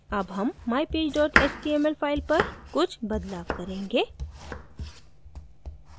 अब हम mypage html file पर कुछ बदलाव करेंगे